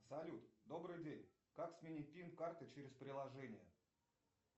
салют добрый день как сменить пин карты через приложение